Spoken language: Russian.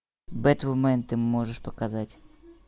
бэтвумен ты можешь показать